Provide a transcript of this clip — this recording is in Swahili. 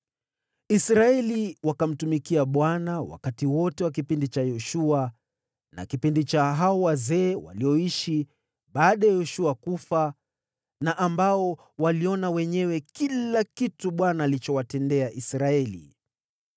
Israeli wakamtumikia Bwana siku zote za maisha ya Yoshua, na za hao wazee walioishi baada ya Yoshua kufa, ambao waliona kila kitu Bwana alichowatendea Israeli.